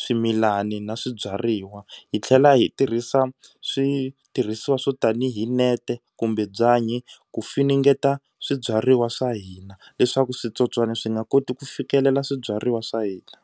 swimilani na swibyariwa. Hi tlhela hi tirhisa switirhisiwa swo tanihi nete kumbe byanyi ku funengeta swibyariwa swa hina leswaku switsotswana swi nga koti ku fikelela swibyariwa swa hina.